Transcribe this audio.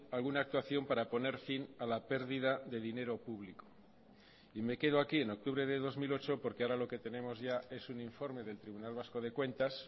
alguna actuación para poner fin a la pérdida de dinero público y me quedo aquí en octubre de dos mil ocho porque ahora lo que tenemos ya es un informe del tribunal vasco de cuentas